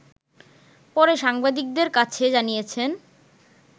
পরে সাংবাদিকদের কাছে জানিয়েছেন